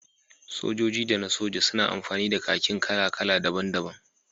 Sojoji da na soja suna amfani da kakin kakin kala-kala daban-daban